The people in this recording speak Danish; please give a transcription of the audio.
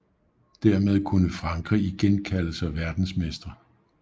Dermed kunne Frankrig igen kalde sig verdensmestre